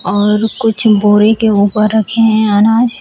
और कुछ बोरी के ऊपर रखे हैं अनाज।